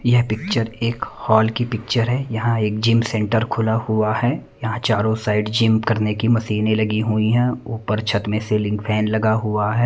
यह पिक्चर एक हॉल की पिक्चर है यहां एक जिम सेंटर खुला हुआ है यहां चारों साइड जिम करने की मशीनें लगी हुई हैं ऊपर छत मे सीलिंग फैन लगा हुआ है।